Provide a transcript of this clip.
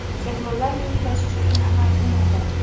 cheklovlar yuk tashish uchun amal qilmaydi.